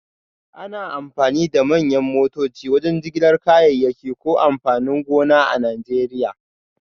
Ana amfani da manyan motoci wajen jigilar kayayyaki da amfanin gona a Najeriya